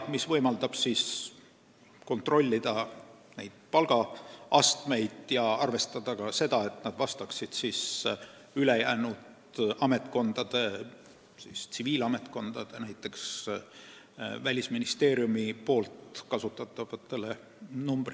See võimaldab kontrollida palgaastmeid, arvestades, et need vastaksid ülejäänud ametkondades, tsiviilametkondades, näiteks Välisministeeriumis kasutatavatele.